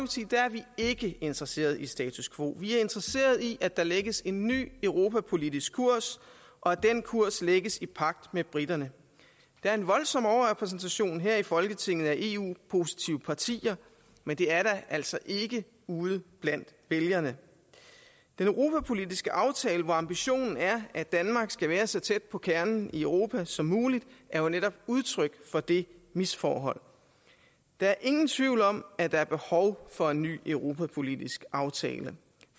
vi ikke interesserede i status quo vi er interesserede i at der lægges en ny europapolitisk kurs og at den kurs lægges i pagt med briterne der er en voldsom overrepræsentation her i folketinget af eu positive partier men det er der altså ikke ude blandt vælgerne den europapolitiske aftale hvor ambitionen er at danmark skal være så tæt på kernen i europa som muligt er jo netop udtryk for det misforhold der er ingen tvivl om at der er behov for en ny europapolitisk aftale